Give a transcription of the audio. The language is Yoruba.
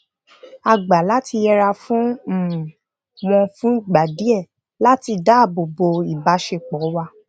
a gbà lati yẹra fun um won fun igba diẹ̀ lati daabobo ibaṣepọ̀ wa um